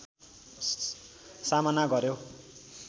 सामना गर्‍यो